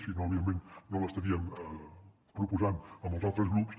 si no evidentment no l’estaríem proposant amb els altres grups